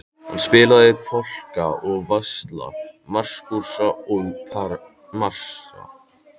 Hann spilaði polka og valsa, masúrka og marsa.